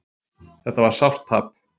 Þetta var sárt tap